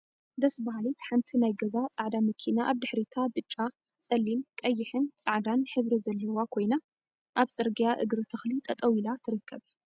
ደስ በሃሊት ሓንቲ ናይ ገዛ ፃዕዳ መኪና አብ ድሕሪታ ብጫ፣ ፀሊም፣ ቀይሕን ፃዕዳን ሕብሪ ዘለዋ ኮይና፤ እብ ፅርግያ እግሪ ተክሊ ጠጠው ኢላ ትርከብ፡፡